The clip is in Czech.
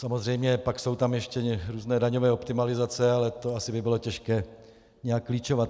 Samozřejmě pak jsou tam ještě různé daňové optimalizace, ale to asi by bylo těžké nějak klíčovat.